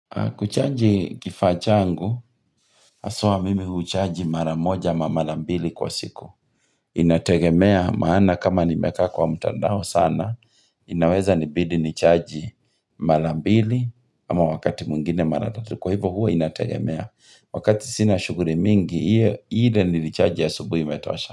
Kuchaji kifaa changu, haswa mimi huchaji mara moja ama mara mbili kwa siku. Inategemea maana kama nimekaa kwa mtandao sana, inaweza nibidi nichaji mara ambili ama wakati mwngine mara tatu. Kwa hivo hua inategemea. Wakati sina shughuli mingi, ile nilichaji asubuhi imetosha.